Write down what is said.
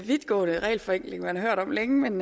vidtgående regelforenkling man har hørt om længe men